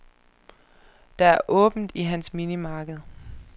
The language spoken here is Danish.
Der er åbent i hans minimarked.